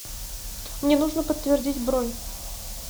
мне нужно подтвердить бронь